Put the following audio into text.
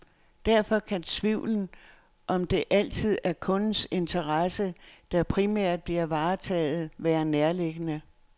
Derfor kan tvivlen, om at det altid er kundens interesse, der primært bliver varetaget, være nærliggende.